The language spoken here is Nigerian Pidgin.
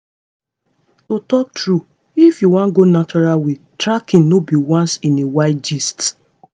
to talk true if you wan go natural way tracking no be once in a while gist.